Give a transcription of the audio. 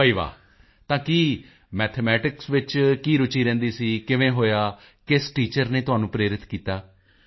ਬਈ ਵਾਹ ਤਾਂ ਕੀ ਮੈਥਮੈਟਿਕਸ ਵਿੱਚ ਕੀ ਰੁਚੀ ਰਹਿੰਦੀ ਸੀ ਕਿਵੇਂ ਹੋਇਆ ਕਿਸ ਟੀਚਰ ਨੇ ਤੁਹਾਨੂੰ ਪ੍ਰੇਰਿਤ ਕੀਤਾ